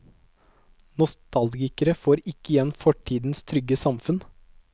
Nostalgikere får ikke igjen fortidens trygge samfunn.